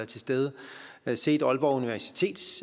til stede set aalborg universitets